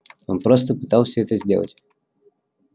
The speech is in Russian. он просто пытался это сделать